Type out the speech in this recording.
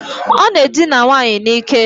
Ọ na-edina nwaanyị n'ike.